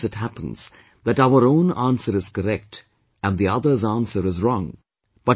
Sometimes it happens that our own answer is correct and the other's answer is wrong